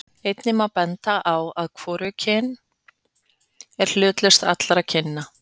einnig má benda á að hvorugkynið er hlutlausast allra kynja